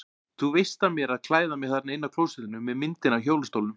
Þú veist af mér að klæða mig þarna inni á klósettinu með myndinni af hjólastólnum.